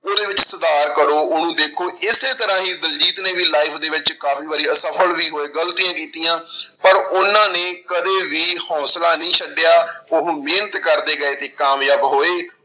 ਉਹਦੇ ਵਿੱਚ ਸੁਧਾਰ ਕਰੋ ਉਹਨੂੰ ਦੇਖੋ ਇਸੇ ਤਰ੍ਹਾਂ ਹੀ ਦਲਜੀਤ ਨੇ ਵੀ life ਦੇ ਵਿੱਚ ਕਾਫ਼ੀ ਵਾਰੀ ਅਸਫ਼ਲ ਵੀ ਹੋਏ, ਗ਼ਲਤੀਆਂ ਕੀਤੀਆਂ ਪਰ ਉਹਨਾਂ ਨੇ ਕਦੇ ਵੀ ਹੌਂਸਲਾ ਨਹੀਂ ਛੱਡਿਆ ਉਹ ਮਿਹਨਤ ਕਰਦੇ ਗਏ ਤੇ ਕਾਮਯਾਬ ਹੋਏ।